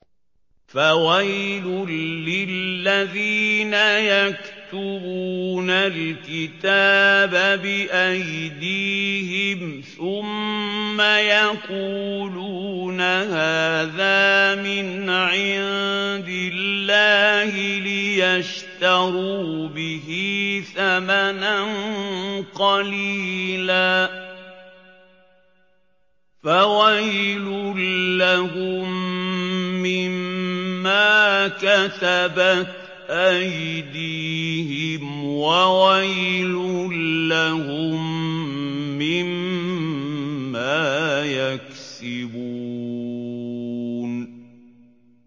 فَوَيْلٌ لِّلَّذِينَ يَكْتُبُونَ الْكِتَابَ بِأَيْدِيهِمْ ثُمَّ يَقُولُونَ هَٰذَا مِنْ عِندِ اللَّهِ لِيَشْتَرُوا بِهِ ثَمَنًا قَلِيلًا ۖ فَوَيْلٌ لَّهُم مِّمَّا كَتَبَتْ أَيْدِيهِمْ وَوَيْلٌ لَّهُم مِّمَّا يَكْسِبُونَ